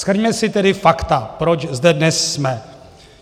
Shrňme si tedy fakta, proč zde dnes jsme.